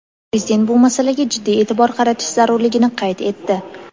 Prezident bu masalaga jiddiy eʼtibor qaratish zarurligini qayd etdi.